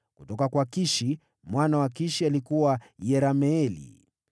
Kutoka kwa Kishi: mwana wa Kishi: alikuwa Yerameeli.